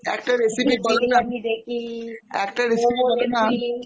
বিরিয়ানি দেখি, একটা recipe বলো না, দেখি একটা recipe বলো না momo দেখি